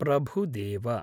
Prabhudeva